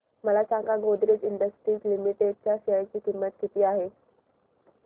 मला सांगा Godrej industries limited च्या शेअर ची किंमत किती आहे